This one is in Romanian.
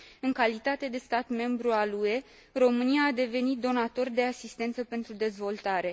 În calitate de stat membru al UE România a devenit donator de asistență pentru dezvoltare.